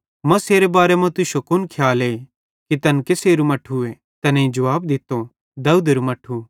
मसीहेरे बारे मां तुश्शो कुन खियाले कि तैन केसेरू मट्ठूए तैनेईं जुवाब दित्तो दाऊदेरू मट्ठू